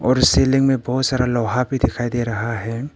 Ceiling में बहुत सारा लोहा भी दिखाई दे रहा है।